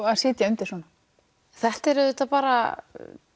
að sitja undir svona þetta er auðvitað bara